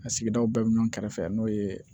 A sigidaw bɛɛ ɲɔn kɛrɛfɛ n'o ye